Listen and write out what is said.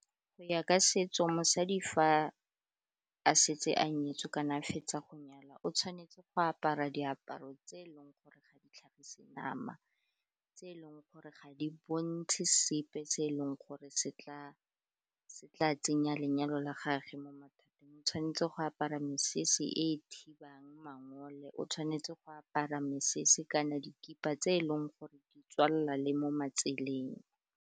Go ya ka setso mosadi fa a setse a nyetswe kana a fetsa go nyalwa, o tshwanetse go apara diaparo tse e leng gore ga di tlhagise nama, tse e leng gore ga di bontshe sepe se e leng gore se tla tsenya lenyalo la gage mo mathateng. O tshwanetse go apara mesese e thibang mangole, o tshwanetse go apara mesese kana dikipa tse e leng gore di tswalela le mo matseleng.